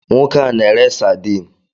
Nwoke a n'ere saadin.